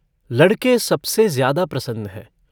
लड़के सबसे ज्यादा प्रसन्न हैं।